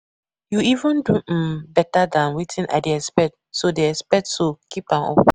You even do um beta dan wetin I dey expect so dey expect so keep am up